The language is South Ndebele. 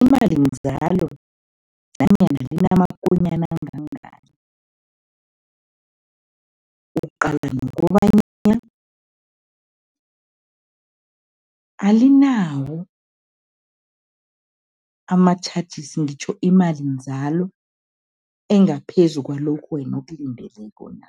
imalinzalo nanyana inamakonyana angangani. Uqala nokobanyana alinawo ama-charges, ngitjho imalinzalo engaphezu kwalokho wena okulindeleko na.